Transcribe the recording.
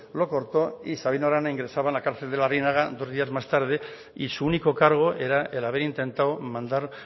lo cortó y sabino arana ingresaba en la cárcel de larrinaga dos días más tarde y su único cargo era el haber intentado mandar